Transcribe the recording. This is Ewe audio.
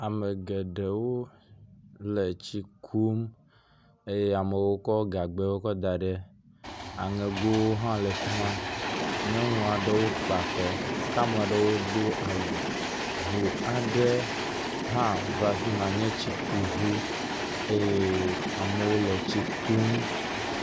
Ame geɖewo le tsi kum eye amewo kɔ gagbɛwo kɔ da ɖe, aŋegowo hã le afi ma. Nyɔnu aɖewo kpa kɔ, kea me aɖewo do awu, ŋu aɖe hã va fi ma, nye tsikuŋu eye amewo le tsi kum.